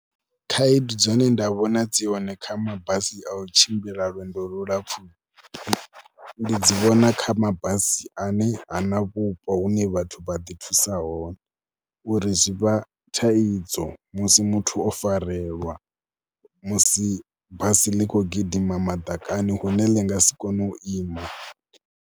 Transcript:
Khaedu dzine nda vhona dzi hone kha mabasi a u tshimbila lwendo lu lapfhu, ndi dzi vhona kha mabasi ane ha na vhupo hune vhathu vha ḓi thusa hone uri zwi vha thaidzo musi muthu o farelwa musi basi ḽi khou gidima madakani hune ḽi nga si kone u ima.